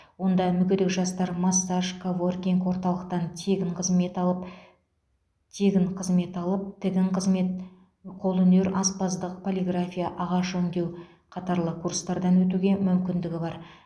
онда мүгедек жастар массаж коворкинг орталықтан тегін қызмет алып тегін қызмет алып тігін қызмет қолөнер аспаздық полиграфия ағаш өңдеу қатарлы курстардан өтуге мүмкіндігі бар